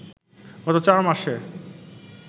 গত চার মাসে